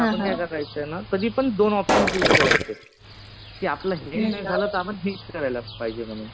तर आपण काय करायचं ना, कधी पण दोन ऑप्शन चूज करायचे. कि आपलं हे नाही झालं तर आपण ते करायला पाहिजे म्हणून.